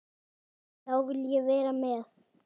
Þá vil ég vera með.